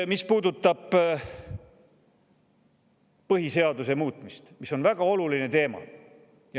Mis puudutab põhiseaduse muutmist, siis see on väga oluline teema.